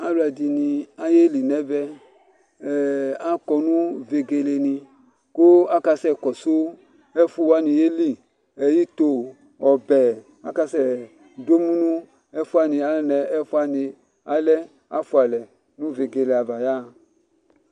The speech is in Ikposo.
alò ɛdini ayeli n'ɛvɛ akɔ no vegele ni kò aka sɛ kɔsu ɛfu wani yeli ito ɔbɛ aka sɛ do emu no ɛfu wani anɛ ɛfu wani alɛ afua alɛ no vegele ava ya ɣa